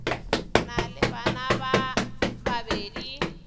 na le bana ba babedi